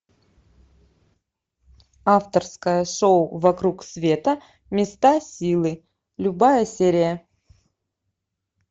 авторское шоу вокруг света места силы любая серия